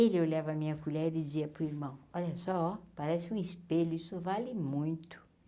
Ele olhava a minha colher e dizia para o irmão, olha só oh, parece um espelho, isso vale muito.